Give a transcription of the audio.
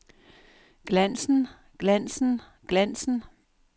glansen glansen glansen